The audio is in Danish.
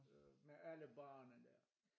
Med alle barene der